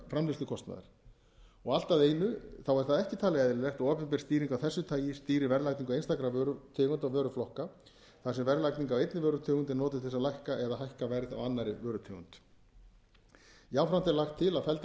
framleiðslukostnaðar allt að einu er það ekki talið eðlilegt að opinber stýring af þessu tagi stýri verðlagningu einstakra vörutegunda og vöruflokka þar sem verðlagning á einni vörutegund er notuð til þess að lækka eða hækka verð á annarri vörutegund jafnframt er lagt til að felldar